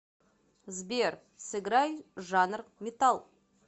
сбер сыграй жанр метал